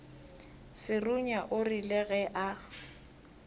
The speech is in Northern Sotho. serunya o rile ge a